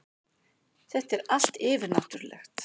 Þetta er allt yfirnáttúrulegt.